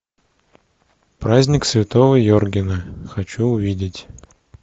праздник святого йоргена хочу увидеть